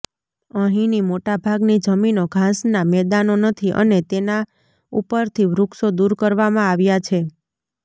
અહીંની મોટાભાગની જમીનો ઘાસનાં મેદાનો નથી અને તેના ઉપરથી વૃક્ષો દૂર કરવામાં આવ્યા છે